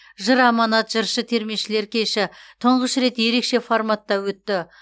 жыр аманат жыршы термешілер кеші тұңғыш рет ерекше форматта өтті